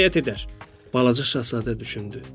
Balaca şahzadə düşündü.